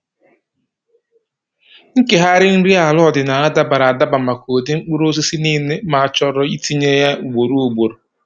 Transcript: Nkegharị nri ala ọdịnaala dabara adaba maka ụdị mkpụrụosisi niile ma ọ chọrọ itinye ya ugboro ugboro.